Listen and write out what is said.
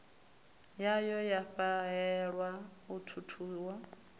yayo ya fhahehwa u thuthiwa